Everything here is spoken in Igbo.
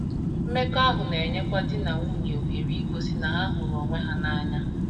Mmekọahụ na - enyekwa di na nwunye ohere igosi na ha hụrụ onwe ha n’anya.